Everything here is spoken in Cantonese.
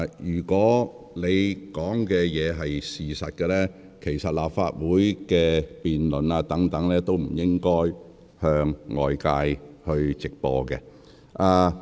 如按你所言，其實立法會的辯論或許也不應向外直播。